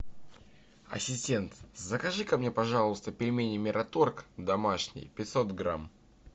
ассистент закажи ка мне пожалуйста пельмени мираторг домашние пятьсот грамм